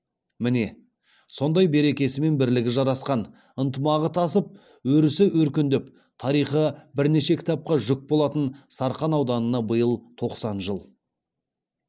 міне сондай берекесі мен бірлігі жарасқан ынтымағы тасып өрісі өркендеп тарихы бірнеше кітапқа жүк болатын сарқан ауданына биыл тоқсан жыл